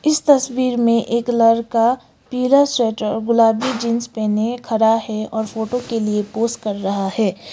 इस तस्वीर में एक लड़का पिला स्वेटर और गुलाबी जींस पहने खड़ा है और फोटो के लिए पोज कर रहा है।